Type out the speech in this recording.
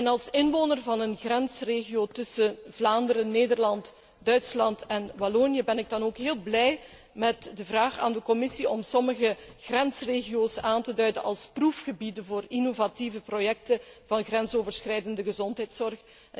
Als inwoner van een grensregio tussen Vlaanderen, Nederland, Duitsland en Wallonië ben ik dan ook heel blij met de vraag aan de Commissie om sommige grensregio's aan te duiden als proefgebieden voor innovatieve projecten inzake grensoverschrijdende gezondheidszorg.